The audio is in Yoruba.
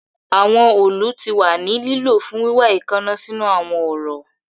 Awọn òòlù ti wa ni lilo fun wiwa eekanna sinu awọn ọrọ